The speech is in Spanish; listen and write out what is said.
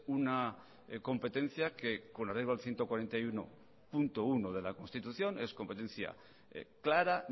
una competencia que con la ciento cuarenta y uno punto uno de la constitución es competencia clara